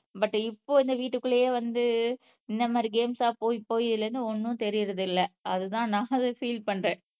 But இப்போ இந்த வீட்டுக்குள்ளேயே வந்து இந்த மாதிரி கேம்ஸ் ஆஹ் போய் போய் இதிலிருந்து ஒண்ணும் தெரியறது இல்ல அதுதான் நான் அத பீல் பண்றேன்.